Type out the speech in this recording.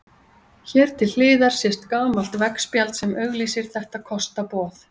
Hér til hliðar sést gamalt veggspjald sem auglýsir þetta kostaboð.